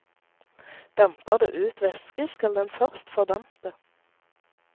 Damper det ut væske, skal den først fordampe.